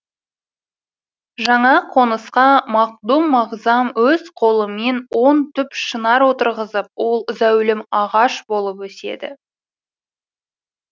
жаңа қонысқа мақдум мағзам өз қолымен он түп шынар отырғызып ол зәулім ағаш болып өседі